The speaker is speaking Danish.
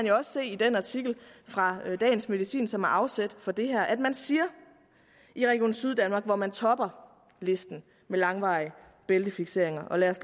jo også se i den artikel fra dagens medicin som er afsæt for det her nemlig at man siger i region syddanmark hvor man topper listen med langvarige bæltefikseringer og lad os